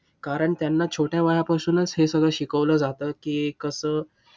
कारण त्यांना छोट्या वयापासूनच हे सगळं शिकवलं जातं, की कसं?